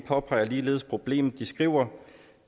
påpeger ligeledes problemet de skriver